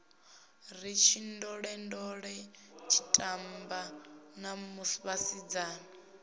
ri tshindolendole tshitamba na vhasidzana